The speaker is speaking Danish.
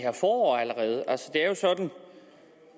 er jo sådan